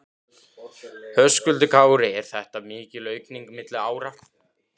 Höskuldur Kári: Er þetta mikil aukning milli ára?